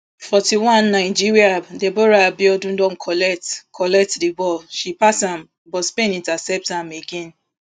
forty-one nigeria deborah abiodun don collect collect di ball she pass am but spainn intercept am again